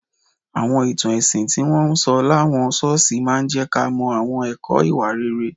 Àwọn ìtàn ẹ̀sìn tí wọ́n ń sọ láwọn ṣọ́ọ̀ṣì máa ń jẹ́ ká mọ àwọn ẹ̀kọ́ ìwà rere